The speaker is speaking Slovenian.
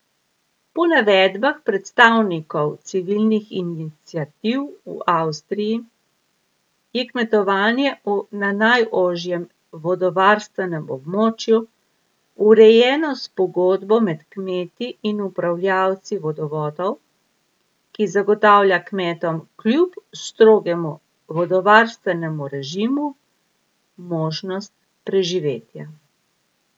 Po navedbah predstavnikov civilnih iniciativ v Avstriji je kmetovanje na najožjem vodovarstvenem območju urejeno s pogodbo med kmeti in upravljavci vodovodov, ki zagotavlja kmetom kljub strogemu vodovarstvenemu režimu možnost preživetja.